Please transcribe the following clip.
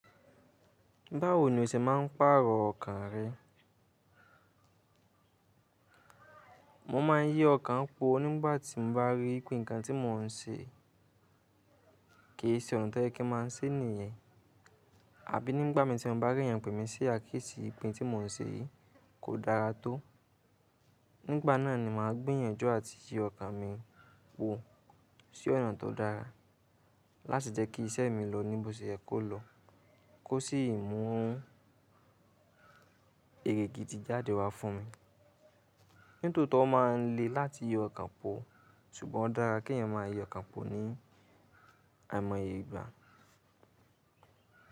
Báwo ni o ṣe máa ń pàrọ̀ ọkàn rẹ? Mo máa ń yí ọkàn po nígbàtí mo bá rí pé nǹkan tí mo ń ṣe kì í ṣe ọ̀nà tó yẹ kí a máa ṣe ní ìyẹn. Àbí nígbà tí mo bá rí pé ìyàgbẹ́ mi sí àkíyèsí ipin tí mò ń ṣe yii kò dára tó. Nígbà náà ni mà á gbèyànjú àti yí ọkàn mi po sí ọ̀nà tó dára láti jẹ́ kí iṣẹ́ mi lọ ní bó ṣe ẹ kó lọ kó sì mú ere gidi jáde wá fún mi. Nítòótọ́, ó máa ń le láti yí ọkàn pọ̀, ṣùgbọ́n ó dára kí ẹ̀yin máa yí ọkàn pọ̀ ní àìmọye ìgbà.